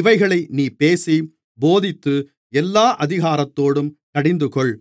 இவைகளை நீ பேசி போதித்து எல்லா அதிகாரத்தோடும் கடிந்துகொள்